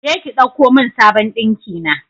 Je ki ɗauko mun sabon ɗinkina